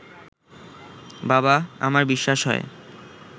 বাবা, আমার বিশ্বাস হয়